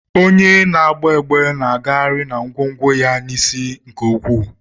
Onye na-agba egbe na-agagharị na ngwongwo ya n'isi nke ukwuu.